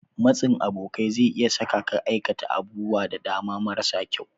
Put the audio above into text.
Matsin abokai zai iya sa ka aikata abubuwa da dama marasa kyau.